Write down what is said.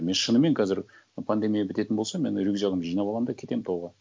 мен шынымен қазір пандемия бітетін болса мен рюкзагімді жинап аламын да кетемін тауға